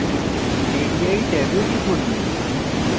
radii ট্যাবে টিপুন